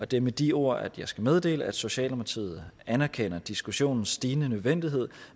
det er med de ord at jeg skal meddele at socialdemokratiet anerkender diskussionens stigende nødvendighed